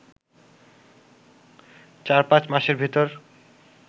চার-পাঁচ মাসের ভেতর